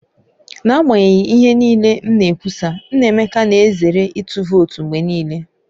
N'agbanyeghị ihe niile m na-ekwusa, Nnaemeka na-ezere ịtụ vootu mgbe niile.